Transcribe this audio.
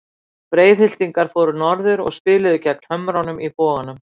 Breiðhyltingar fóru norður og spiluðu gegn Hömrunum í Boganum.